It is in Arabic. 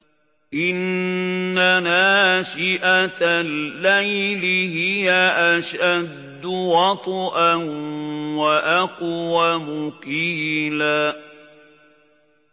إِنَّ نَاشِئَةَ اللَّيْلِ هِيَ أَشَدُّ وَطْئًا وَأَقْوَمُ قِيلًا